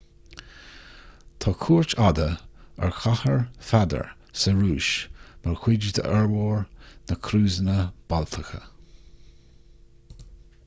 tá cuairt fhada ar chathair pheadair sa rúis mar chuid d'fhormhór na gcrúsanna baltacha